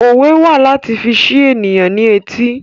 Òwe wà láti fi ṣi ènìyàn ní etí